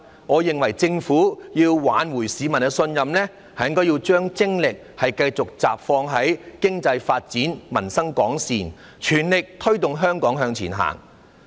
我認為政府要挽回市民的信任，就要將精力集中於發展經濟，令民生改善，全力推動香港向前行。